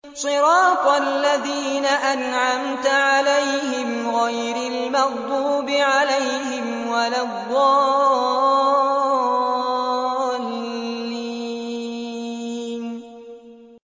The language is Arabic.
صِرَاطَ الَّذِينَ أَنْعَمْتَ عَلَيْهِمْ غَيْرِ الْمَغْضُوبِ عَلَيْهِمْ وَلَا الضَّالِّينَ